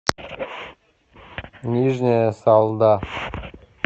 нижняя салда